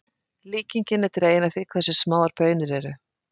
Líkingin er dregin af því hversu smáar baunir eru.